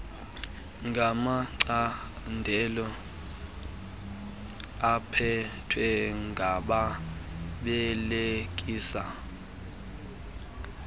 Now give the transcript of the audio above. ngamacandelo aphethwe ngababelekisi